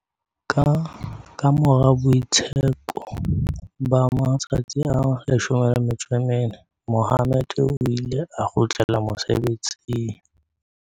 Kamora boitsheko ba ma-tsatsi a 14, Mohammed o ile a kgutlela mosebetsing.